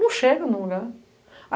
Não chega em nenhum lugar.